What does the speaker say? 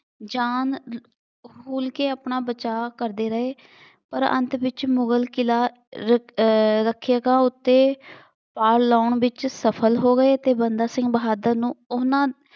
ਜਾਨ ਕੇ ਆਪਣਾ ਬਚਾਅ ਕਰਦੇ ਰਹੇ। ਪਰ ਅੰਤ ਵਿੱਚ ਮੁਗਲ ਕਿਲ੍ਹਾ ਰ ਅਹ ਰੱਖਿਅਕਾਂ ਉੱਤੇ ਲਾਉਣ ਵਿੱਚ ਸਫਲ ਹੋ ਗਏ ਅਤੇ ਬੰਦਾ ਸਿੰਘ ਬਹਾਦਰ ਨੂੰ